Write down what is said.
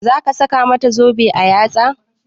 Za ka saka mata zobe a yatsa?